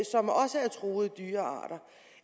truede dyrearter